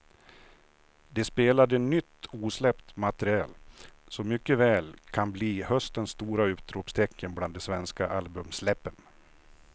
De spelade nytt osläppt material som mycket väl kan bli höstens stora utropstecken bland de svenska albumsläppen.